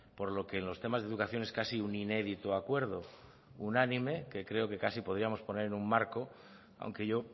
por lo que los temas de educación es casi un inédito acuerdo unánime que creo que casi podríamos poner un marco aunque yo